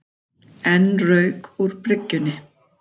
Enn rauk úr bryggjunni